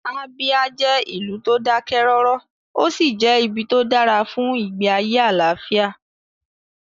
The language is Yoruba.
Abia jẹ́ ìlú tó dákẹ́ rọ́rọ́, ó sì jẹ́ ibi tó dára fún ìgbé ayé àlàáfíà